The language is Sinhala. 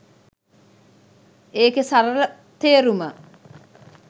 ඒකෙ සරල තේරුම.